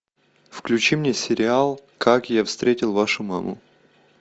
включи мне сериал как я встретил вашу маму